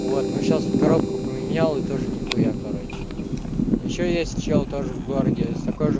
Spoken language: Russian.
вот мы сейчас коробку поменял и тоже нехуя короче ещё есть чел тоже в городе с такой же